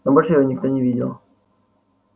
но больше его никто не видел